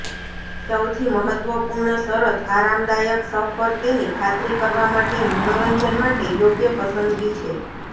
સૌથી મહત્વપૂર્ણ શરત આરામદાયક સફર તેની ખાતરી કરવા માટે મનોરંજન માટે યોગ્ય પસંદગી છે